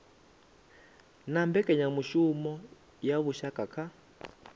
na mbekanyamushumo ya vhushaka kha